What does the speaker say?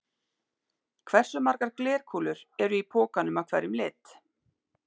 Hversu margar glerkúlur eru í pokanum af hverjum lit?